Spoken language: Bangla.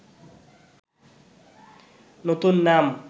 নতুন নাম